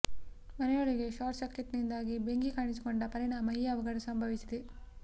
ಮನೆಯೊಳಗೆ ಶಾರ್ಟ್ ಸರ್ಕೀಟ್ನಿಂದಾಗಿ ಬೆಂಕಿ ಕಾಣಿಸಿಕೊಂಡ ಪರಿಣಾಮ ಈ ಅವಘಡ ಸಂಭವಿಸಿದೆ